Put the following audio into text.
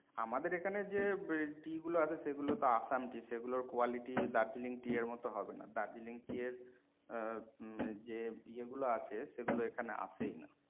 আমাদের এখানে যে tea গুলো আসে সেগুলো তো আসাম tea সেগুলোর দার্জিলিং quality tea এর মতো হবেনা। দার্জিলিং tea এর আহ যে ইয়ে গুলো আছে সেগুলো এখানে আসেই না।